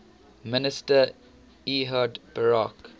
minister ehud barak